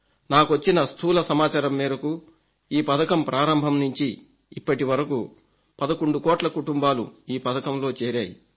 నాకొచ్చిన స్థూల సమాచారం మేరకు ఈ పథకం ప్రారంభం నుంచి ఇప్పటివరకు 11 కోట్ల కుటుంబాలు ఈ పథకంలో చేరాయి